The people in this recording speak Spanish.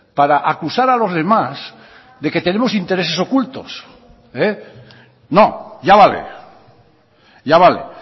para acusar a los demás de que tenemos intereses ocultos no ya vale ya vale